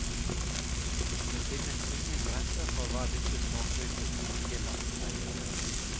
Det finnes ingen grenser for hva disse småkrypene kan tillate seg å gjøre.